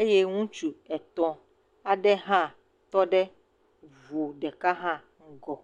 eye ŋutsu etɔ̃ aɖe hã tɔ ɖe ŋu ɖeka hã kɔ.